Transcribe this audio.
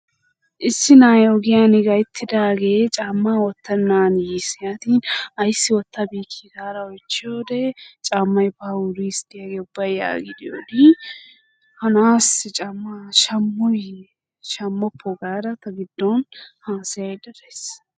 Issi na'ay ogiyan gayittidaagee caammaa wottennan yiis. "Yaatin ayissi wottabeyikki" gaada oyichchiyode "caammay baa wuris de'iyagee ubbay" yaagidi Odin ha na'aassi caammaa shammooyye shammoppoo? Gaada ta giddon haasayayidda dayis.